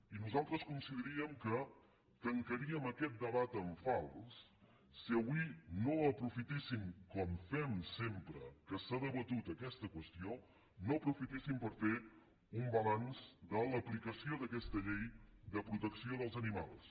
i nosaltres consideraríem que tancaríem aquest debat en fals si avui no aprofitéssim com fem sempre que s’ha debatut aquesta qüestió per fer un balanç de l’aplicació d’aquesta llei de protecció dels animals